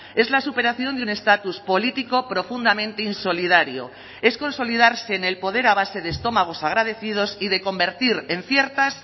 es la superación de un estatus político profundamente insolidario es consolidarse en el poder a base de estómagos agradecidos y de convertir en ciertas